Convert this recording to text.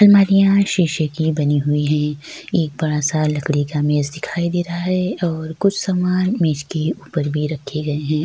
अलमारियां शीशे की बनी हुई हैं। एक बड़ा सा लकड़ी का मेज दिखाई दे रहा है और कुछ सामान मेज के ऊपर भी रखे गए हैं।